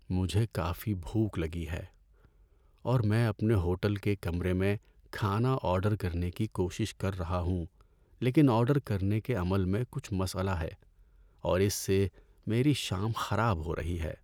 مجھے کافی بھوک لگی ہے، اور میں اپنے ہوٹل کے کمرے میں کھانا آرڈر کرنے کی کوشش کر رہا ہوں لیکن آرڈر کرنے کے عمل میں کچھ مسئلہ ہے اور اس سے میری شام خراب ہو رہی ہے۔